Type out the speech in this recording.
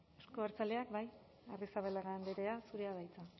euzko abertzaleak bai arrizabalaga andrea zurea da hitza